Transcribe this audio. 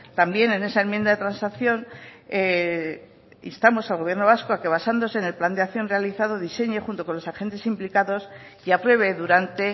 también en esa enmienda de transacción instamos al gobierno vasco a que basándose en el plan de acción realizado diseñe junto con los agentes implicados y apruebe durante